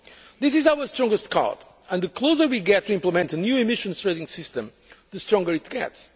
world. This is our strongest card and the closer we get to implementing the new Emissions Trading System, the stronger it